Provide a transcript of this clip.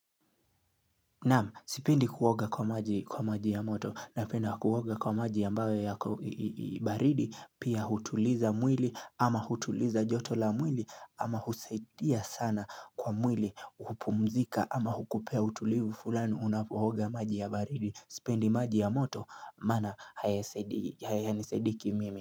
Naam sipendi kuoga kwa maji ya moto napenda kuoga kwa maji ambayo yako baridi pia hutuliza mwili ama hutuliza joto la mwili ama husaidia sana kwa mwili hupumzika ama hukupea hutulivu fulani unapoiga maji ya baridi sipendi maji ya moto mana hayani saudii kimimi.